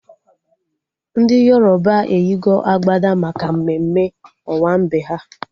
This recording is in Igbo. Ndị Yoroba eyigo agbada maka mmemme owambe ha